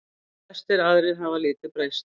Flestir aðrir hafa lítið breyst.